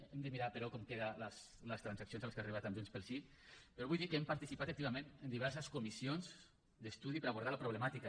hem de mirar però com queden les transaccions a les que ha arribat amb junts pel sí però vull dir que hem participat activament en diverses comissions d’estudi per abordar la problemàtica